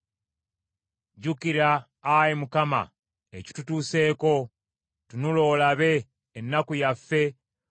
Jjukira Ayi Mukama ekitutuuseeko. Tunula olabe ennaku yaffe.